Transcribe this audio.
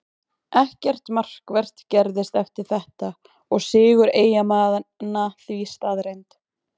Ekkert markvert gerðist eftir þetta og sigur Eyjamanna því staðreynd.